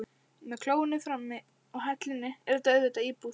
Með klóinu frammi og hellunni er þetta auðvitað íbúð.